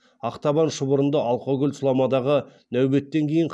ақтабан шұбырынды алқакөл сұламадағы нәубеттен кейін